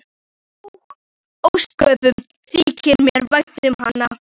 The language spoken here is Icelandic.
Og ósköp þykir mér vænt um hana.